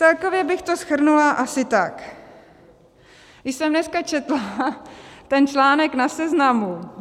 Celkově bych to shrnula asi tak: Když jsem dneska četla ten článek na Seznamu